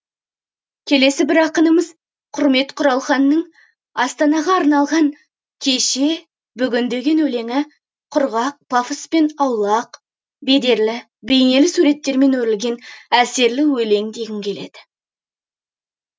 келесі бір ақынымыз құрмет құралханның астанаға арналған кеше бүгін деген өлеңі де құрғақ пафоспен аулақ бедерлі бейнелі суреттермен өрілген әсерлі өлең дегім келеді